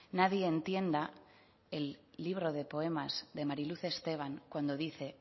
nadie entienda el libro de poemas de mari luz esteban cuando dice